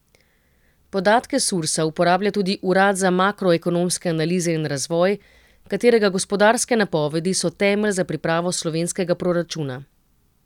Podatke Sursa uporablja tudi Urad za makroekonomske analize in razvoj, katerega gospodarske napovedi so temelj za pripravo slovenskega proračuna.